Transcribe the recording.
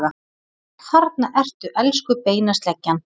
Þarna ertu, elsku beinasleggjan!